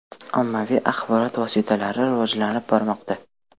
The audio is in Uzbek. Ommaviy axborot vositalari rivojlanib bormoqda.